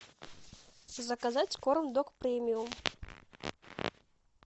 заказать корм дог премиум